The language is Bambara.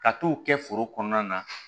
Ka t'o kɛ foro kɔnɔna na